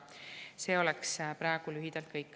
See oleks praegu lühidalt kõik.